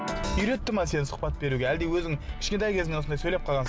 үйретті ма сені сұхбат беруге әлде өзің кішкентай кезіңнен осындай сөйлеп қалғансың